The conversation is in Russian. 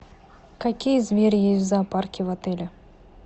какие звери есть в зоопарке в отеле